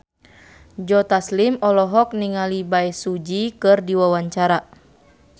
Joe Taslim olohok ningali Bae Su Ji keur diwawancara